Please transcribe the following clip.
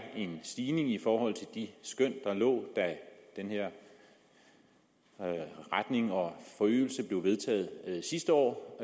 en stigning i forhold til de skøn der lå da den her retning og forøgelse blev vedtaget sidste år